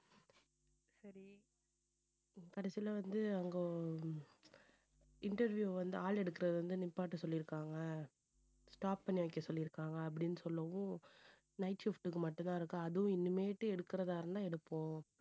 கடைசியில வந்து அங்க interview வந்து ஆள் எடுக்கிறதை வந்து நிப்பாட்ட சொல்லியிருக்காங்க. stop பண்ணி வைக்க சொல்லி இருக்காங்க அப்படின்னு சொல்லவும் night shift க்கு மட்டும்தான் இருக்கு. அதுவும் இனிமேட்டு எடுக்கறதா இருந்தா எடுப்போம்.